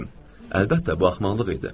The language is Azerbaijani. Əlbəttə, bu axmaqlıq idi.